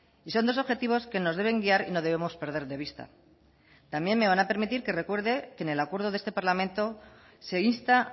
y son dos objetivos que nos deben guiar y no debemos perder de vista también me van a permitir que recuerde que en el acuerdo de este parlamento se insta